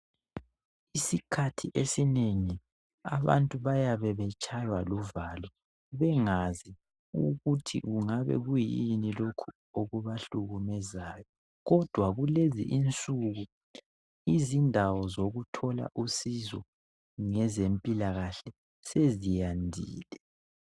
Isikhathi esinengi abantu bayabe betshaywa luvalo bengazi ukuthi kungabe kuyini lokhu okubahlukumezayo kodwa kulezi insuku izindawo zokuthola usizo ngezempilakahle seziyandile.